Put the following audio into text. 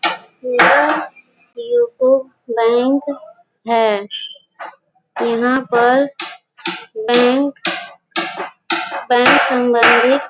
यह UCO bank है। यहाँ पर बैंक बैंक संबंधी --